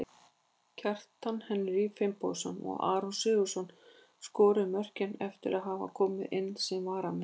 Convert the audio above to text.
Kjartan Henry Finnbogason og Aron Sigurðarson skoruðu mörkin eftir að hafa komið inn sem varamenn.